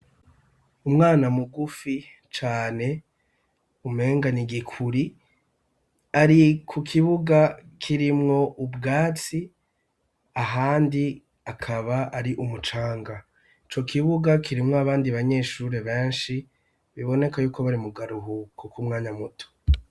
Umwana mugufi cane umenga nigikuri ari ku kibuga kirimwo ubwatsi ahandi akaba ari umucanga ico kibuga kirimwo abandi banyeshure benshi biboneka yuko bari mu karuhuko kumwanya muto.